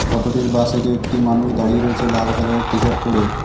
Photo -টির বা side -এ একটি মানুষ দাঁড়িয়ে রয়েছে লাল কালার -এর টিশার্ট পরে।